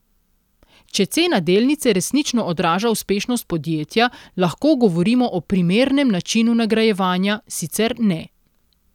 Če cena delnice resnično odraža uspešnost podjetja, lahko govorimo o primernem načinu nagrajevanja, sicer ne.